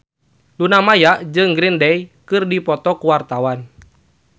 Luna Maya jeung Green Day keur dipoto ku wartawan